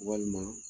Walima